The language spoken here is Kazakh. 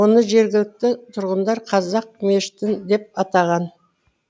оны жергілікті тұрғындар қазақ мешіті деп атаған